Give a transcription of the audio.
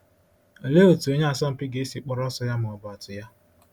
Olee otú onye asọmpi ga-esi kpọrọ ọsọ ya ma ọ bụ atụ ya?